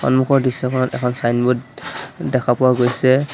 সন্মুখৰ দৃশ্যখনত এখন ছাইনবোৰ্ড দেখা পোৱা গৈছে।